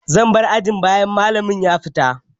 Zan bar ajin bayan malamin ya fita.